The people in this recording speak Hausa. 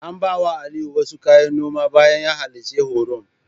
An bawa Aliyu wasu kayan noma bayan da ya halarci horon.